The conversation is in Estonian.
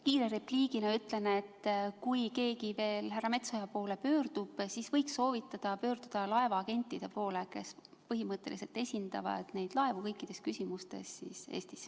Kiire repliigina ütlen, et kui keegi veel härra Metsoja poole pöördub, siis võiks soovitada tal pöörduda laevaagentide poole, kes põhimõtteliselt esindavad neid laevu kõikides küsimustes.